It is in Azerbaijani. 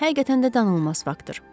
Həqiqətən də danılmaz faktır.